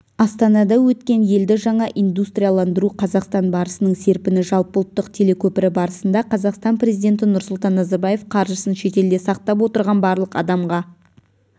астанада өткен елді жаңа индустрияландыру қазақстан барысының серпіні жалпыұлттық телекөпірі барысында қазақстан президенті нұрсұлтан назарбаев қаржысын шетелде сақтап отырған барлық адамға